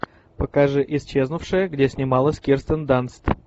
покажи исчезнувшая где снималась кирстен данст